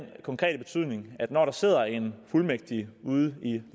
konkrete betydning at når der sidder en fuldmægtig ude i den